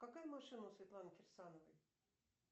какая машина у светланы кирсановой